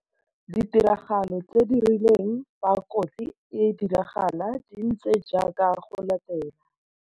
Ditiragalo tse di rileng fa kotsi e diragala di ntse jaaka go latela.